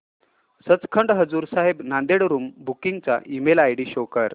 Sachkhand Hazur Sahib Nanded room booking चा email ID show कर